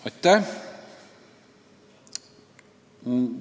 Aitäh!